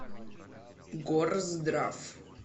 горздрав